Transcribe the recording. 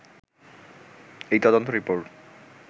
এই তদন্ত রিপোর্ট